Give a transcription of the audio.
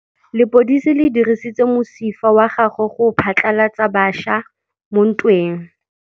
Lepodisa le dirisitse mosifa wa gagwe go phatlalatsa batšha mo ntweng.